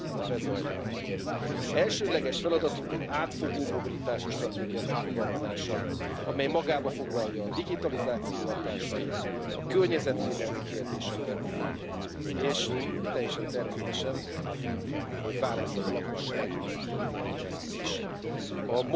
can lead in setting new global standards. These concepts are well reflected in the draft resolution prepared by Mr Ujhelyi, which supports more action including at EU level in this field. Allow me to specifically address three important topics raised in the report.